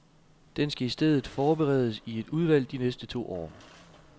Den skal i stedet forberedes i et udvalg de næste to år.